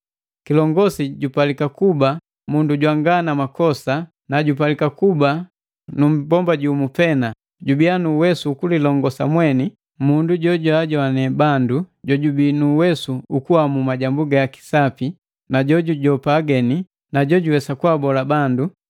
Kilongosi jupalika kuba mundu jwanga na makosa, nu jupalika kuba nu mmbomba jumu pena, jubiya nu uwesu ukulilongosa mweni, mundu joanzoane bandu jojubii nu uwesu ukuamu majambu gaki sapi na jukusanga ageni na jojuwesa kubola;